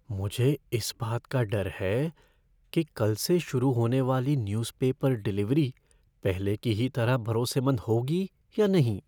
मुझे इस बात का डर है कि कल से शुरू होने वाली न्यूज़ पेपर डिलीवरी पहले की ही तरह भरोसेमंद होगी या नहीं?